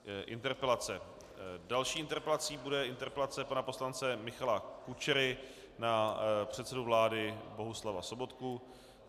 Další interpelací bude interpelace pana poslance Michala Kučery na předsedu vlády Bohuslava Sobotku.